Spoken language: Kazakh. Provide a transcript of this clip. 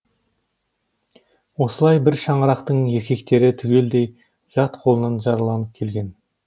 осылай бір шаңырақтың еркектері түгелдей жат қолынан жараланып келген